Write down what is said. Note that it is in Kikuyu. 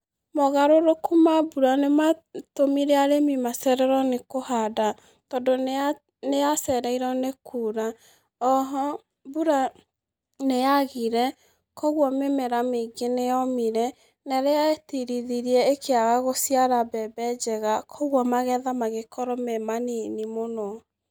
Mogarũrũku ma mbura nimatūmire arīmi macererwo nī kūhanda tondū nīyacereirwo nī kuura. Oho mbura nīyagire kūoguo mīmera mīingi nīyomire na īrīa yetirithirie īkīaga gūciara mbembe njega. Kwogua magetha magīkorwo me manini mūno.